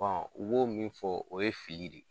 Bɔn u b'o min fɔ o ye fili de ye